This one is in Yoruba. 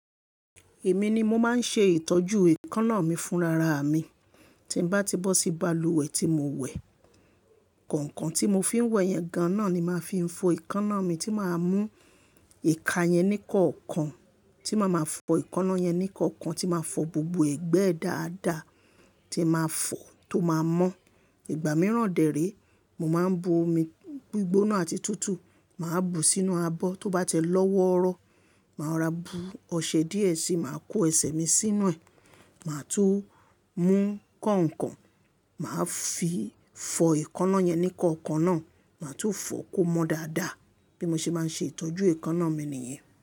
Èmi ni mo máa ń ṣe ìtọ́jú èékánná mi fún rara mi. Tí bá ti bọ́ sí balùwẹ̀ tí mo wẹ̀, kọ̀ǹkàn tí mo fi ń wẹ̀ yẹn ga náà ni màá fi ń fọ èékánná mi tí màá mú ìka yẹn níkọ̀ọ̀kan, tí màá ma fọ èékánná yẹn níkọ̀ọ̀kan, tí màá fọ gbogbo ẹ̀gbẹ́ dáadáa tí màá fọ tó màá mọ́. Ìgbà mìíràn dẹ̀ rí, mo máa ń bu omi gbígbóná àti tútù, màá bu sínú abọ́, tó bá tẹ lọ́wọ́rọ́, màá ra bú ọṣẹ díẹ̀ sí, màá kó ẹsẹ̀ mi sínú ẹ̀, màá tún mú kọ̀ǹkàn, màá fi fọ èékánná yẹn níkọ̀ọ̀kan náà, màá tún fọ kó mọ dáadáa. Bí mo ṣe bá ń ṣe ìtọ́jú èékánná mi nìyẹn.